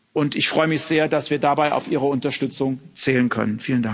Und ich freue mich sehr, dass wir dabei auf Ihre Unterstützung zählen können.